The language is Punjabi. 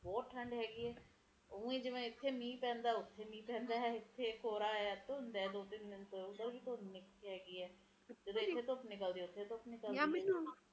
ਚਲੋ ਆਪਾ ਤਾ ਵਧੀਆ ਥਾਂ ਤੇ ਬੈਠੇ ਆ ਪੱਕੇ ਘਰਾਂ ਚ ਬੈਠੇ ਆ ਆਵਦੇ ਪਰ ਜਿਹੜੇ ਗਰੀਬ ਵਿਚਾਰੇ ਸੜਕਾਂ ਤੇ ਪੈਂਦੇ ਪਸ਼ੂ ਪਖਸ਼ੀ ਹੈ ਕਿੰਨਾ ਬੁਰਾ ਹਾਲ ਐ ਹਰਿਆਲੀ ਹੈ ਪੇੜ ਨਹੀਂ ਹੈ ਪੇੜ ਹੋਣ